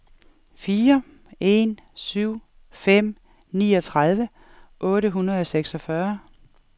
fire en syv fem niogtredive otte hundrede og seksogfyrre